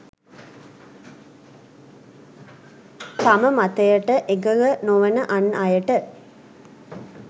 තම මතයට එකඟ නොවන අන් අයට